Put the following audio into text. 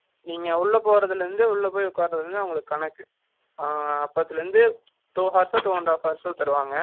நீங்க உள்ள போறதுல இருந்து, உள்ள போயி உட்கார்றதுல இருந்து, அவங்களுக்கு கணக்கு, அப்பத்துல இருந்து, two hours ஒ, two and half hours ஒ தருவாங்க